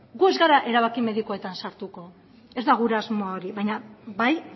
gu ez gara erabaki medikuetan sartuko ez da gure asmoa hori baina bai